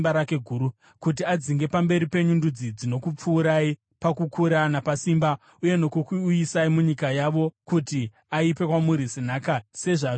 kuti adzinge pamberi penyu ndudzi dzinokupfuurai pakukura napasimba uye nokukuuyisai munyika yavo kuti aipe kwamuri senhaka sezvazviri nhasi.